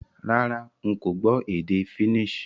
Rárá, n ko gbó édé Finnish